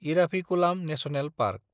Eravikulam national park